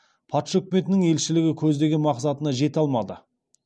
патша үкіметінің елшілігі көздеген мақсатына жете алмады